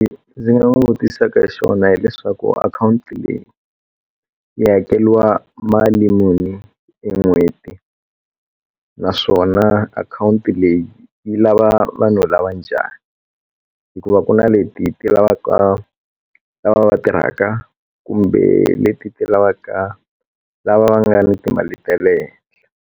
Ndzi nga n'wi vutisaka xona hileswaku akhawunti leyi yi hakeriwa mali muni hi n'hweti naswona akhawunti leyi yi lava vanhu lava njhani hikuva ku na leti ti lavaka lava va tirhaka kumbe leti ti lavaka lava va nga ni timali ta le hehla.